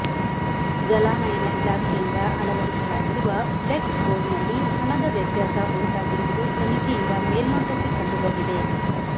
ಜಲಾನಯನ ಇಲಾಖೆಯಿಂದ ಅಳವಡಿಸಿ ಲಾಗಿರುವ ಫ್ಲೆಕ್ಸ್ ಬೋರ್ಡ್ನಲ್ಲಿ ಹಣದ ವ್ಯತ್ಯಾಸ ಉಂಟಾಗಿರುವುದು ತನಿಖೆಯಿಂದ ಮೇಲ್ನೊಟಕ್ಕೆ ಕಂಡು ಬಂದಿದೆ